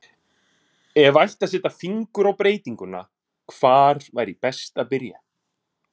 Ef ætti að setja fingur á breytinguna, hvar væri best að byrja?